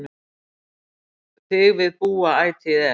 Þig við búa ætíð er